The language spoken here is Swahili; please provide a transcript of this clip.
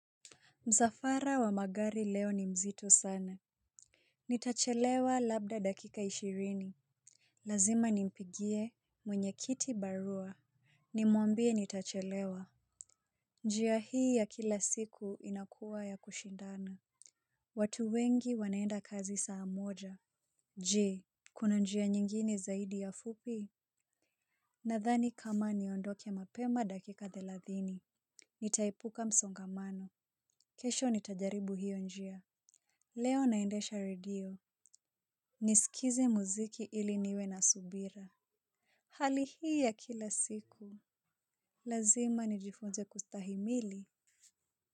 Msafara wa magari leo ni mzitk sana. Nitachelewa labda dakika ishirini. Lazima nimpigie mwenye kiti barua. Nimwambie nitachelewa. Njia hii ya kila siku inakuwa ya kushindana. Watu wengi wanaenda kazi saa moja. Je. Kuna njia nyingine zaidi ya fupi? Nadhani kama niondoke mapema dakika thelathini. Nitaepuka msongamano. Kesho nitajaribu hiyo njia. Leo naendesha redio, nisikizi muziki ili niwe na subira. Hali hii ya kila siku, lazima nijifunze kustahimili.